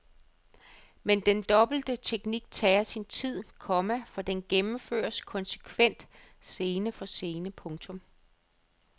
Men den dobbelte teknik tager sin tid, komma for den gennemføres konsekvent scene for scene. punktum